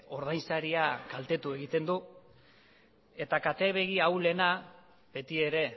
ordainsaria kaltetu egiten du eta kate begi ahulena beti ere